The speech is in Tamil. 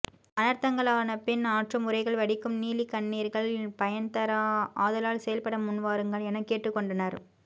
அனர்த்தங்களானபின் ஆற்றும் உரைகள் வடிக்கும் நீலிக் கண்ணீர்கள் பயன்தரா ஆதலால் செயல்ப்பட முன்வாருங்கள் எனக் கேட்டுக் கொண்டனர்